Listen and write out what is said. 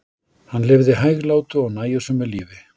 hann lifði hæglátu og nægjusömu lífi